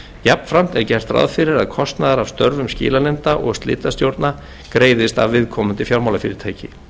jafnframt er gert ráð fyrir að kostnaður af störfum skilanefnda og slitastjórna greiðist af viðkomandi fjármálafyrirtæki